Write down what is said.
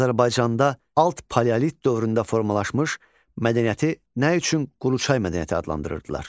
Azərbaycanda alt paleolit dövründə formalaşmış mədəniyyəti nə üçün Quruçay mədəniyyəti adlandırırdılar?